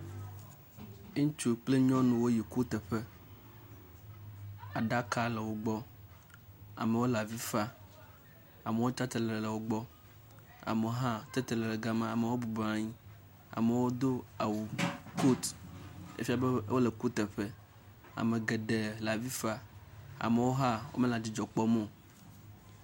Ŋutsu kple nyɔnuwo yi kuteƒe, aɖaka le wogbɔ, amewo le avi fa, amewo tsatsitre le wogbɔ amewo hã tatitre le gama, amewo bubɔnɔ anyi, amewo do awu, kot efia be wole kuteƒe. Ame geɖe le avi fa, amewo hã wo mele adzidzɔ kpɔm o.